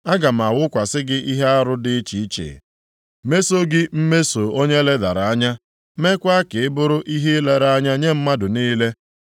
Aga m awụkwasị gị ihe arụ dị iche iche, meso gị mmeso onye e ledara anya, mekwaa ka ị bụrụ ihe ilere anya nye mmadụ niile.